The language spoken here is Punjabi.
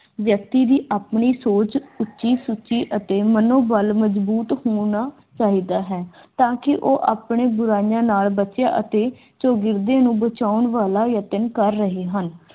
ਵਿਅਕਤੀ ਦੀ ਆਪਣੀ ਸੋਚ ਉੱਚੀ ਸੁੱਚੀ ਅਤੇ ਮਨੋਬਲ ਮਜ਼ਬੂਤ ਹੋਣਾ ਚਾਹੀਦਾ ਹੈ ਕਿ ਉਹ ਆਪਣੇ ਬੁਰਾਈਆਂ ਨਾਲ ਬੱਚਿਆ ਅਤੇ ਚੌਗਿਰਦੇ ਨੂੰ ਬਚਾਉਣ ਲਈ ਯਤਨ ਕਰ ਰਹੇ ਹਨ